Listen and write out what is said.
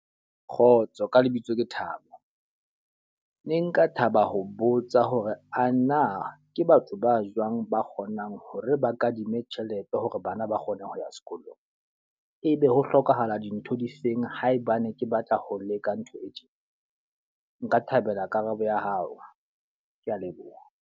Kgotso, ka lebitso ke Thabo. Ne nka thaba ho botsa hore ana ke batho ba jwang ba kgonang hore ba kadime tjhelete hore bana ba sa kgoneng ho ya sekolong? E be ho hlokahala dintho di feng haebane ke batla ho leka ntho e tjena? Nka thabela karabo ya hao, ke a leboha.